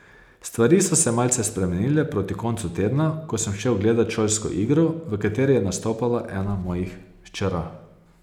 Stvari so se malce spremenile proti koncu tedna, ko sem šel gledat šolsko igro, v kateri je nastopala ena mojih hčera.